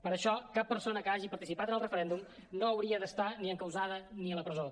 per això cap persona que hagi participat en el referèndum no hauria d’estar ni encausada ni a la presó